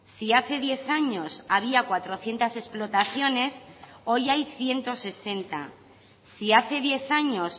si hace diez años había cuatrocientos explotaciones hoy hay ciento sesenta si hace diez años